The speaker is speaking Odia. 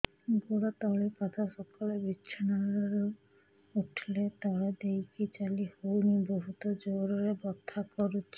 ଗୋଡ ତଳି ପାଦ ସକାଳେ ବିଛଣା ରୁ ଉଠିଲେ ତଳେ ଦେଇକି ଚାଲିହଉନି ବହୁତ ଜୋର ରେ ବଥା କରୁଛି